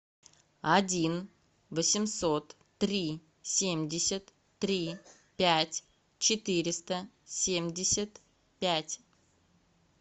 один восемьсот три семьдесят три пять четыреста семьдесят пять